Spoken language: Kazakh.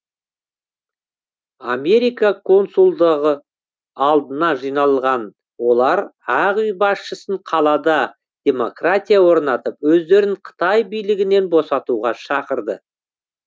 америка консулдығы алдына жиналған олар ақ үй басшысын қалада демократия орнатып өздерін қытай билігінен босатуға шақырды